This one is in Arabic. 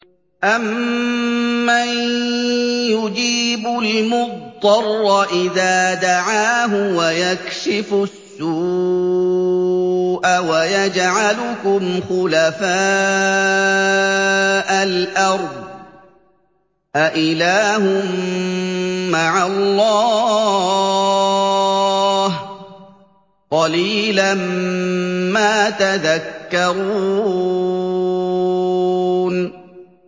أَمَّن يُجِيبُ الْمُضْطَرَّ إِذَا دَعَاهُ وَيَكْشِفُ السُّوءَ وَيَجْعَلُكُمْ خُلَفَاءَ الْأَرْضِ ۗ أَإِلَٰهٌ مَّعَ اللَّهِ ۚ قَلِيلًا مَّا تَذَكَّرُونَ